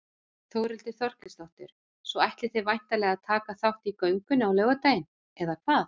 Þórhildur Þorkelsdóttir: Svo ætlið þið væntanlega að taka þátt í göngunni á laugardaginn eða hvað?